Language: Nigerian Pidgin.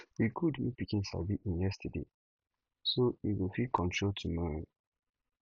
e good make pikin sabi en yesterday so en go fit control tomorrow